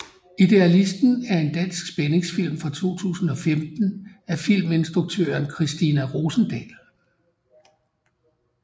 Idealisten er en dansk spændingsfilm fra 2015 af filminstruktøren Christina Rosendahl